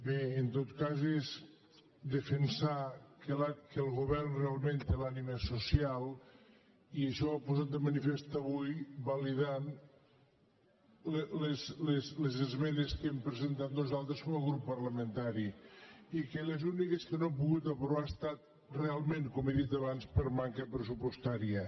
bé en tot cas és defensar que el govern realment té l’ànima social i això ho ha posat de manifest avui va·lidant les esmenes que hem presentat nosaltres com a grup parlamentari i les úniques que no ha pogut apro·var han estat realment com he dit abans per manca pressupostària